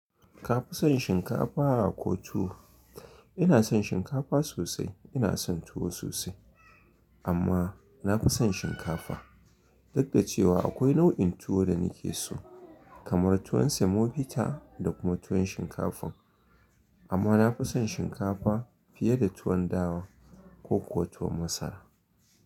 Ka fi son shinkafa ko tuwo? Ina son shinkafa sosai, ina son tuwo sosai, amma na fi son shinkafa. Duk da cewa akwai nau’in tuwo da nake so, kamar tuwon semobita da kuma tuwon shinkafan. Amma na fi son shinkafa fiye da tuwon dawa ko kuwa tuwo masara.